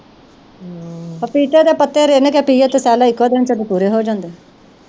ਪਪੀਤੇ ਦੇ ਪੱਤੇ ਰਿਨ ਕੇ ਪੀਓ ਤੇ cell ਇੱਕੋ ਦਿਨ ਚ ਪੂਰੇ ਹੋ ਜਾਂਦੇ।